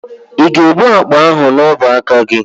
Ị ga-ebu akpa ahụ n'ubuaka gị.